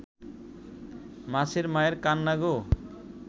মাছের মায়ের কান্না গো